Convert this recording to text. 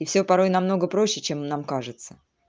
и всё порой намного проще чем нам кажется